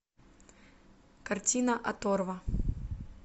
картина оторва